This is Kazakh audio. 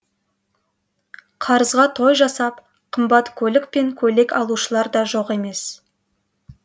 қарызға той жасап қымбат көлік пен көйлек алушылар да жоқ емес